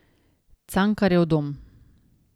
Cankarjev dom.